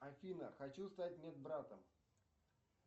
афина хочу стать медбратом